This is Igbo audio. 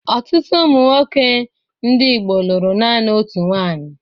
Ọtụtụ ụmụ nwoke ndị Igbo lụrụ naanị otu nwaanyị.